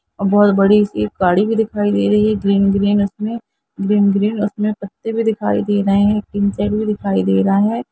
बहुत बड़ी सी गाड़ी भी दिखाई दे रही है ग्रीन -ग्रीन उसमे ग्रीन -ग्रीन उसमे पत्ते भी दिखाई दे रहे है इंटर भी दिखाई दे रहा है।